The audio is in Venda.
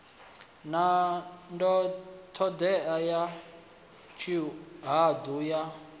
na ṱhodea ya tshihaḓu ya